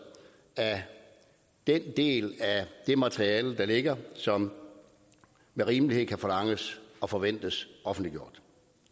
af den del af det materiale der ligger og som med rimelighed kan forlanges og forventes offentliggjort